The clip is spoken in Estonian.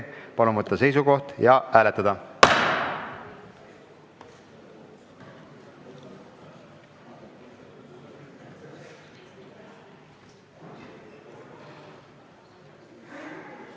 Palun võtta seisukoht ja hääletada!